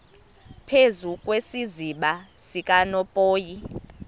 phezu kwesiziba sikanophoyi